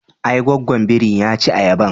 Ae, gwaggwan biri ya ci ayaban.